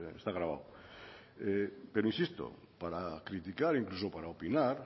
está grabado insisto para criticar o incluso para opinar